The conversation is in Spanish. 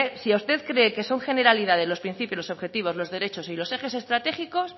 si usted cree que son generalidades los principios los objetivos los derechos y los ejes estratégicos